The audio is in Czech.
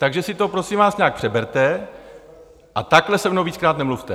Takže si to prosím vás nějak přeberte a takhle se mnou víckrát nemluvte!